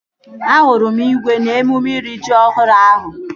Ahụrụ m igwe n'emume iri ji ọhụrụ ahụ